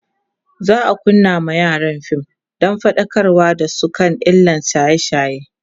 za'a kunna ma yaran fim Dan faɗakar da su kan illan shaye shaye